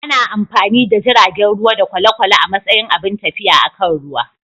Ana amfani da jiragen ruwa da kwale-kwale a matsayin abun tafiya akan ruwa.